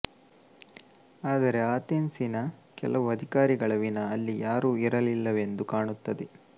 ಆದರೆ ಆತೆನ್ಸಿನ ಕೆಲವು ಅಧಿಕಾರಿಗಳ ವಿನಾ ಅಲ್ಲಿ ಯಾರೂ ಇರಲಿಲ್ಲವೆಂದು ಕಾಣುತ್ತದೆ